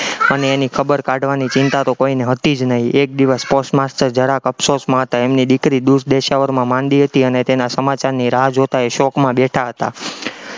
અને એની ખબર કાઢવાની ચિંતા તો કોઈને હતી જ નહિ, એક દિવસ post master જરાક અફસોસમાં હતા, એમની દીકરી દૂર દેશાવરમાં માંદી હતી અને તેના સમાચારની રાહ જોતા એ શોકમાં બેઠા હતા.